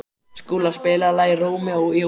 Skúla, spilaðu lagið „Rómeó og Júlía“.